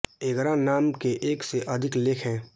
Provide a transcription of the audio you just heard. एगरा नाम के एक से अधिक लेख हैं